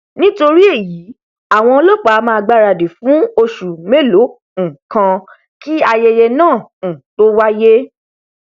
nítorí èyí àwọn ọlọpàá a máà gbáradì fún oṣù mélòó um kan kí ayẹyẹ náà um tó wáyé